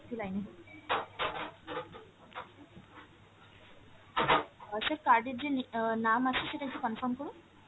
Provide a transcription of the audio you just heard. একটু line এ hold করুন । আর sir card এর যে অ্যাঁ নাম আছে সেটা একটু confirm করুন।